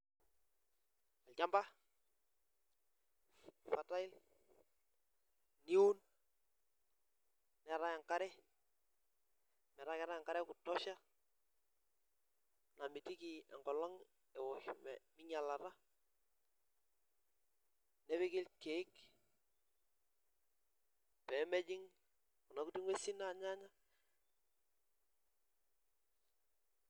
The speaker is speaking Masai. Olchampa fertile iun neetae enkare metaa keetae enkare ekutushoa namirieki enkolong eosh ,nepiki irkeek pee ejing Kuna kuti ngwesin anyaaanya.